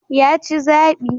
Ya ci zabi.